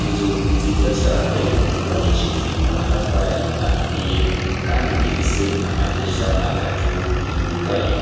inzu nziza cane yubakishijwe amatafari aturiye kandi ifise amadirisha atatu yugaye